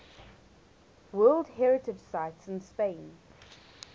world heritage sites in spain